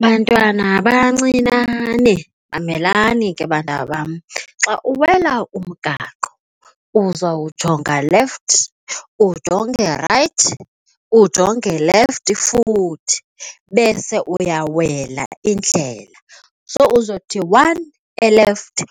Bantwana bancinane, mamelani ke bantwana bam, xa uwela umgaqo uzawujonga left, ujonge rayithi ujonge left, futhi bese uyawela indlela. So uzawuthi one elefti,